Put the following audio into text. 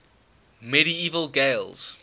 medieval gaels